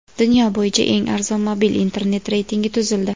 Dunyo bo‘yicha eng arzon mobil internet reytingi tuzildi.